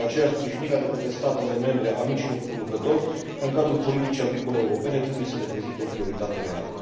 De aceea, sprijinirea de către statele membre a micilor producători în cadrul politicii agricole europene trebuie să reprezinte o prioritate reală.